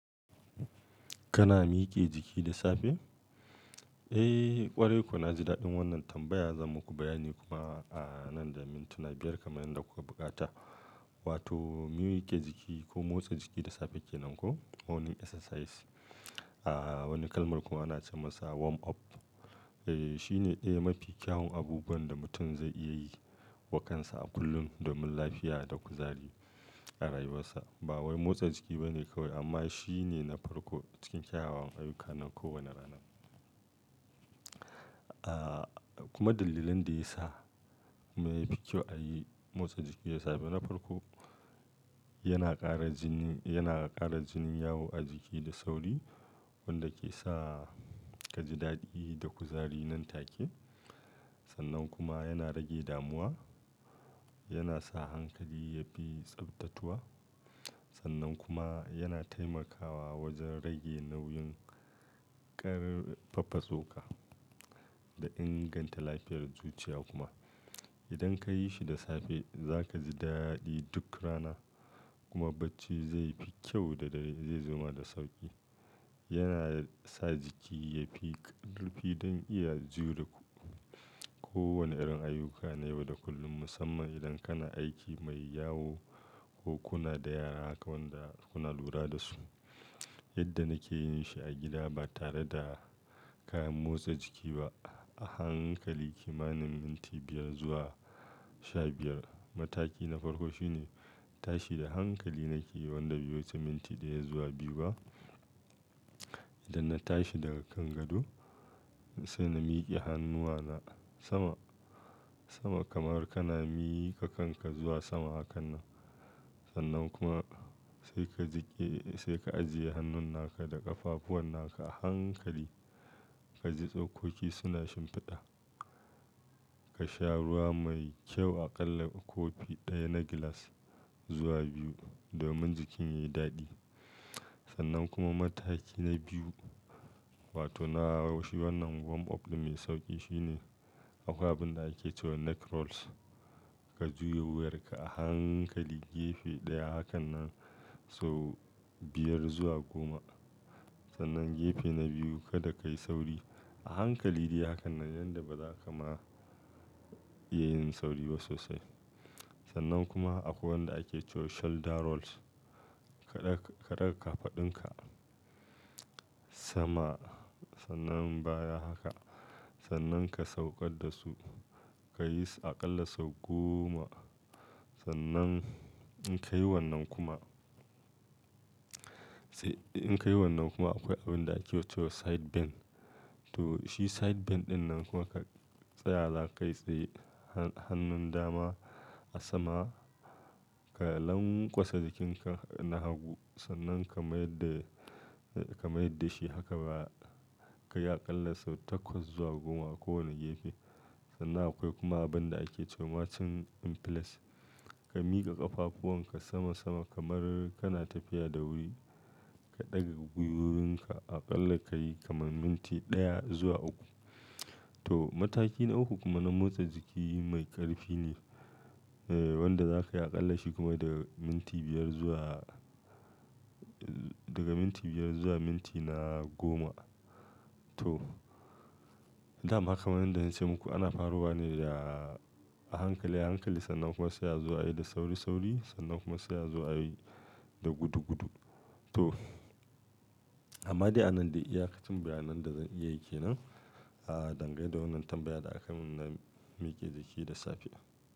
Kana miƙe jiki da safe? Eh ƙwarai ko na ji daɗin wannan tambaya zan muku bayani kuma a nan da mintuna biyar kamar yadda kuka buƙata. Wato mike ko jiki ko motsa jiki da safe kenan ko morning exercises. A wani kalmar kuma ana ce masa warm up. Eh shine ɗaya mafi kyawun abubuwan da mutum zai iya yi wa kansa a kullum domin lafiya da kuzari a rayuwarsa. Ba wai motsa jiki bane kawai amma shine na farko cikin kyawawan ayyuka nan kowane rana. Ah kuma dalilan da ya sa mai fi kyau a yi motsa jiki da safe na farko yana ƙara jini, yana ƙara jini yawo a jiki da sauri wanda ke sa ka ji daɗi da kuzari nan take. Sannan kuma yana rage damuwa, yana sa hankali yafi tsaftatuwa. Sannan kuma yana taimakawa wajen rage nau'in ƙar faffasoƙa da inganta lafiyar zuciya kuma. Idan ka yi shi da safe za ka ji daɗi duk rana kuma bacci zai fi kyau da zai zama da sauƙi. Yana sa jiki yafi ƙarfi don iya jure kowane irin ayyuka na yau da kullum musamman idan kana aiki mai yawo ko kuna da yara wanda kuna lura da su. Yadda nake yin shi a gida ba tare da kayan motsa jiki ba a hankali kimanin minti biyar zuwa sha biyar. Mataki na farko shine tashi da hankali nake yi wanda bai wuce tminti ɗaya zuwa biyu ba. Idan na tashi daga kan gado sai na miƙe hannuwa na sama, sama kamar kana miƙa kanka zuwa sama hakan nan. Sannan kuma sai ka jiƙe-- sai ka ajiye hannun naka da ƙafafuwan naka a hankali ka ji tsokoki suna shimfiɗa. Ka sha ruwa mai kyau aƙalla kofi ɗaya na gilas zuwa biyu domin jikin yayi daɗi. Sannan kuma mataki na biyu wato na shi wannan warm up mai sauƙi shine akwai abin da ake cewa neck rolls. Ka juya wuyarka a hankali gefe ɗaya hakan nan sau biyar zuwa goma. Sannan gefe na biyu kada ka yi sauri a hankali dai hakan nan yanda baza ka ma iya yin sauri ba sosai. Sannan kuma akwai wanda ake cewa shoulder rolls. Ka ɗaga ƙafa dunƙa sama sannan baya haka. Sannan ka sauƙar da su ka yi aƙalla sau goma. Sannan in ka yi wannan kuma, in ka yi wannan kuma akwai abin da ake cewa side bend. To shi side bend ɗinnan kuma ka tsaya zakai t tsaye han-hannun dama a sama ka langwatsa jikinka na hagu sannan ka mayar da, ka mayar da shi haka baya ka yi aƙalla sau takwas zuwa goma kowane gefe. Sannan akwai kuma abin da ake cewa chin inflect. Ka miƙa ƙafafuwan ka sama sama kamar kana tafiya da wuri. Ka ɗage gwiwoyinka aƙalla ka yi kamar minti ɗaya zuwa uku. To mataki na uku kuma na motsa jiki mai ƙarfi ne eh wanda zaka yi aƙalla shi kuma daga minti biyar zuwa, daga minti biyar zuwa minti na goma. To, daman ka man yadda na ce muku ana faruwa ne da a hankali, hankali sannan kuma sai a zuwa yi da sauri, sauri sannan kuma sai a zuwa yayi da gudu gudu. To, amma dai a nan dai iyaƙacin bayanan da zan iya yi kenan. Ah dangane da wannan tambaya da akai min na miƙe jiki da safe.